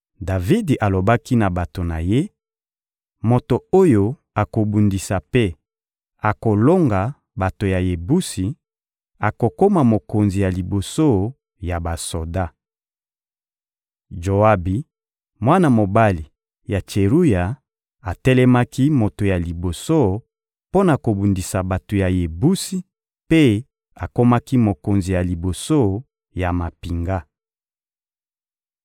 Davidi alobaki na bato na ye: «Moto oyo akobundisa mpe akolonga bato ya Yebusi, akokoma mokonzi ya liboso ya basoda.» Joabi, mwana mobali ya Tseruya, atelemaki moto ya liboso mpo na kobundisa bato ya Yebusi mpe akomaki mokonzi ya liboso ya mampinga.